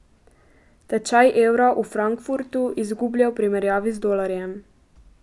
Tečaj evra v Frankfurtu izgublja v primerjavi z dolarjem.